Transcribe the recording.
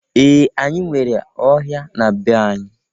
Ee! Anyị nwere ọhịa na be anyị.